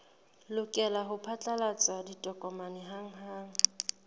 lokela ho phatlalatsa ditokomane hanghang